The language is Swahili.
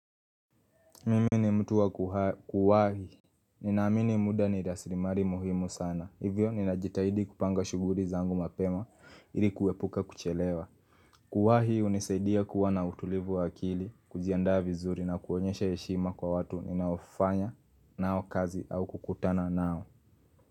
Mimi ni mtu wa kuwahi. Ninaamini muda ni rasilimali muhimu sana. Hivyo, ninajitahidi kupanga shughuli zangu mapema ili kuepuka kuchelewa. Kuwahi hunisaidia kuwa na utulivu wa akili, kujiandaa vizuri na kuonyesha heshima kwa watu ninaofanya nao kazi au kukutana nao.